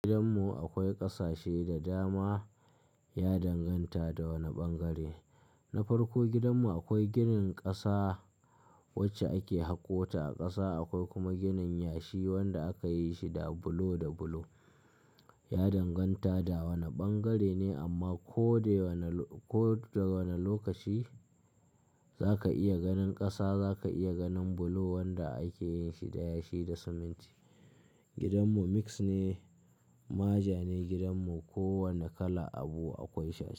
Gidanmu akwai ƙasashe da dama, ya danganta da wane ɓangare. Na farko gidanmu akwai ginin ƙasa wacce ake haƙota a ƙasa, akwai kuma ginin yashi wanda akayi shi da bulo da bulo. Ya danganta da wane ɓangare ne amma ko da wanne ko da wane lokaci zaka iya ganin ƙasa, zaka iya ganin bulo wanda ake yin shi da yashi da siminti. Gidanmu mix ne, ma ja ne gidanmu, kowane kala abu akwai sha.